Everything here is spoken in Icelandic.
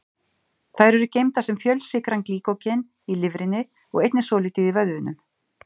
Þær eru geymdar sem fjölsykran glýkógen í lifrinni og einnig svolítið í vöðvunum.